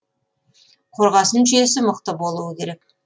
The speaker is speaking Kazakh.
қорғасын жүйесі мықты болуы керек